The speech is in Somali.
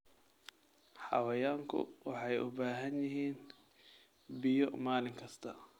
Xayawaanku waxay u baahan yihiin biyo maalin kasta.